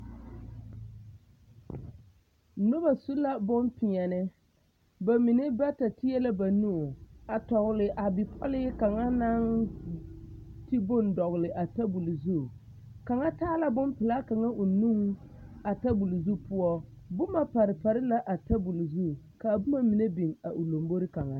Nobɔ su la bonpeɛle ba mine bata teɛ la ba nu a tɔgle a bipɔlee kaŋa naŋ ti bone dɔgle a tabole zu kaŋa taa la bonpelaa kaŋa o nuŋ a tabole zu poɔ boma pare pare la a tabole zu kaa boma mine biŋ a o lombore kaŋa.